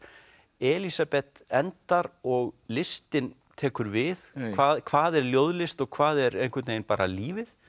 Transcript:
Elísabet endar og listin tekur við hvað hvað er ljóðlist og hvað er bara lífið